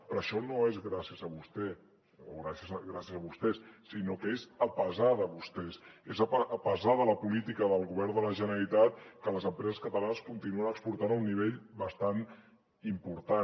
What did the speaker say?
però això no és gràcies a vostè o gràcies a vostès sinó que és a pesarpesar de la política del govern de la generalitat que les empreses catalanes continuen exportant a un nivell bastant important